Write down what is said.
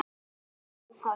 Það var þeim hollt.